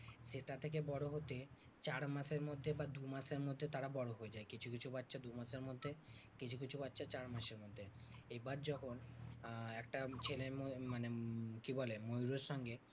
সেটা থেকে বড় হতে চার মাসের মধ্যে বা দু মাসের মধ্যে তারা বড় হয়ে যায়। কিছু কিছু বাছা দু মাসের মধ্যে কিছু কিছু বাচ্চা চার মাসের মধ্যে। এবার যখন আহ একটা ছেলে মানে কি বলে ময়ূরের সঙ্গে